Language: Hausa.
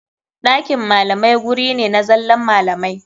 Ɗakin malamai guri ne na zallan malamai.